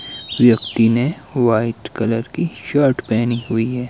व्यक्ति ने white colour की शर्ट पेहनी हुई है।